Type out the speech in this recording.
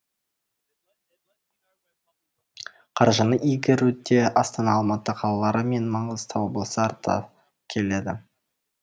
қаржыны игеруде астана алматы қалалары мен маңғыстау облысы артта келеді